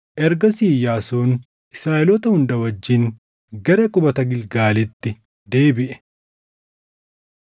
Ergasii Iyyaasuun Israaʼeloota hunda wajjin gara qubata Gilgaalitti deebiʼe.